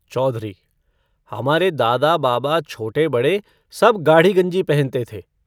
चौधरी -हमारे दादा-बाबा, छोटे-बड़े सब गाढ़ी गंजी पहनते थे।